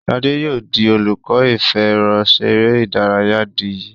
Shade yóò dì olùkó ìfẹ̀rọṣeré ìdárayá dì yí.